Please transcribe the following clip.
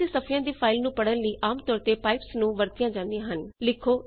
ਬਹੁਗਿਣਤੀ ਸਫ਼ਿਆਂ ਦੀ ਫਾਇਲ ਨੂੰ ਪੜਨ ਲਈ ਆਮ ਤੌਰ ਤੇ ਪਾਈਪਜ਼ ਵਰਤੀਆਂ ਜਾਂਦੀਆਂ ਹਨ